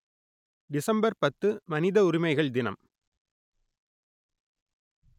December பத்து மனித உரிமைகள் தினம்